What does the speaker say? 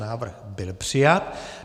Návrh byl přijat.